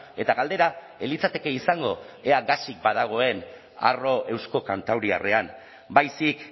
eta galdera ez litzateke izango ea gasik badagoen arro eusko kantauriarrean baizik